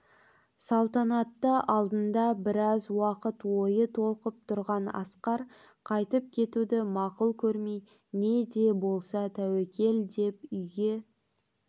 салтанатты алдында біраз уақыт ойы толқып тұрған асқар қайтып кетуді мақұл көрмей не де болса тәуекел деп үйге